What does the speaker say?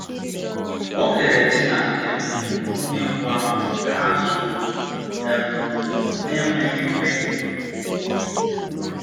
O kere di na um nwunye mbụ ahụ ka ha zuo okè, um n’enweghị mmehie.